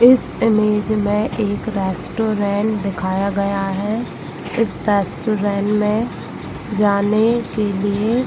इस इमेज में एक रेस्टोरेंट दिखाया गया है इस रेस्टोरेंट में जाने के लिए --